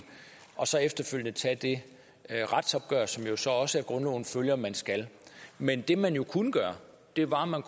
og så efterfølgende tage det retsopgør som det så også af grundloven følger man skal men det man kunne gøre var at man